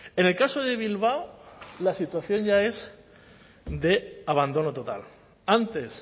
en el caso de bilbao la situación ya es de abandono total antes